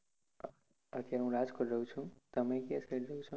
અત્યારે હું રાજકોટ રહું છુ તમે કઈ side રહો છો?